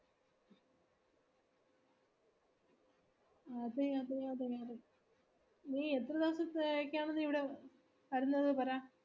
അതെ അതെ അതെ അതെ നീ എത്രദിവസത്തേക്കാണ് നീ ഇവിടെ വരുന്നെന്ന് പറ